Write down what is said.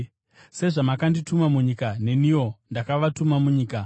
Sezvamakandituma munyika, neniwo ndakavatuma munyika.